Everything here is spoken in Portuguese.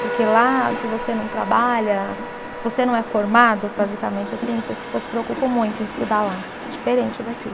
Porque lá, se você não trabalha, se você não é formado, basicamente assim, porque as pessoas se preocupam muito em estudar lá, diferente daqui.